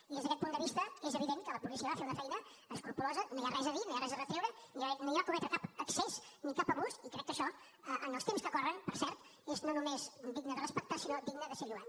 i des d’aquest punt de vista és evident que la policia va fer una feina escrupolosa no hi ha res a dir no hi ha res a retreure no hi va haver no va cometre cap excés ni cap abús i crec que això en els temps que corren per cert és no només digne de respectar sinó digne de ser lloat